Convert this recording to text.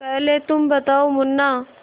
पहले तुम बताओ मुन्ना